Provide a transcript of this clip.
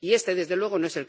y este, desde luego, no